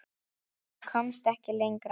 En komst ekki lengra.